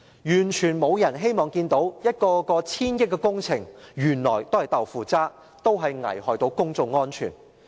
完全沒有人希望看見一個一個千億元的工程原來都是"豆腐渣"，危害公眾安全。